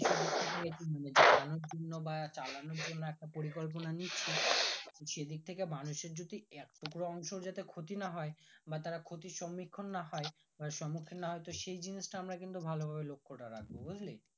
ভালোর জন্য বা চালানোর জন্য একটা পরিকল্পনা নিয়েছি সেদিক থেকে মানুষের যদি এক টুকরোও অংশ ক্ষতি না হয় বা তারা ক্ষতির সমীক্ষণ না হয় বা সমুখীন না হয় সেই জিনিসটা আমরা কিন্তু ভালো ভাবে লক্ষ টা রাখবো বুজলি